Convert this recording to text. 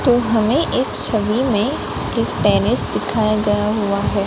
तो हमें इस छवि में एक टेनिस दिखाएगा हुआ है।